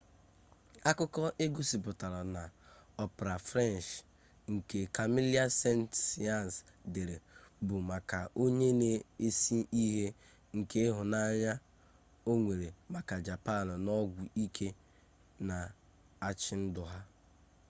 akụkọ egosipụtara na opera french nke camille saint-saens dere bụ maka onye na-ese ihe nke ịhụnanya o nwere maka japan na ọgwụ ike na-achị ndụ ya